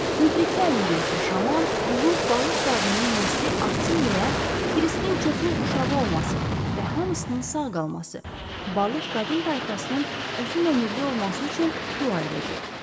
Müdriklər müdriki şaman, ulu balıq qadının nəsli artsın deyə, Kiriskin çoxlu uşağı olması və hamısının sağ qalması, balıq qadın tayfasının uzunömürlü olması üçün dua edəcək.